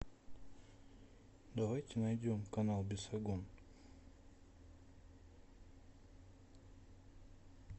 давайте найдем канал бесогон